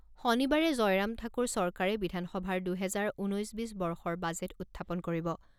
শনিবাৰে জয়ৰাম ঠাকুৰ চৰকাৰে বিধানসভাৰ দুহেজাৰ ঊনৈছ বিছ বৰ্ষৰ বাজেট উত্থাপন কৰিব।